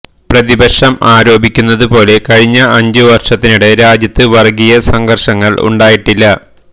പ്രതിപക്ഷം ആരോപിക്കുന്നത് പോലെ കഴിഞ്ഞ അഞ്ചുവര്ഷത്തിനിടെ രാജ്യത്ത് വര്ഗീയ സംഘര്ഷങ്ങള് ഉണ്ടായിട്ടില്ല